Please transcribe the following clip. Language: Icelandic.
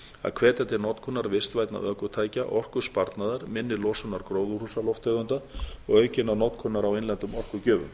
að hvetja til notkunar vistvænna ökutækja orkusparnaðar minni losunar gróðurhúsalofttegunda og aukinnar notkunar á innlendum orkugjöfum